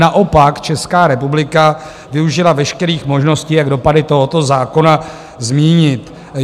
Naopak Česká republika využila veškerých možností, jak dopady tohoto zákona zmírnit.